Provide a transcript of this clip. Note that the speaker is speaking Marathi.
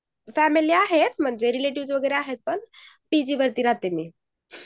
फॅमिली आहे रिलेटिव्ह वगैरे आहेत पण पीजी मध्ये राहते मी